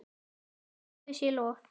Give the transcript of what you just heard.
Nei, Guði sé lof.